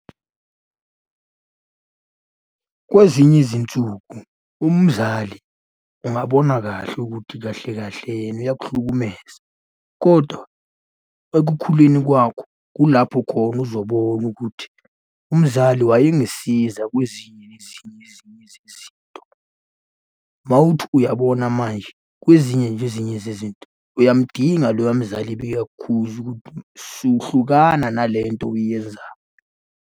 Kwezinye izinsuku, umzali ungabona kahle ukuthi kahle kahle yena uyakuhlukumeza, kodwa ekukhuleni kwakho kulapho khona uzobona ukuthi umzali wayengisiza kwezinye nezinye ezinye zezinto. Mawuthi uyabona manje, kwezinye zezinye zezinto uyamudinga loya mzali bekakukhuza ukuthi so, hlukana nale nto oyenzayo.